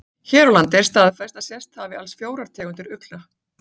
Hér á landi er staðfest að sést hafi alls fjórar tegundir ugla.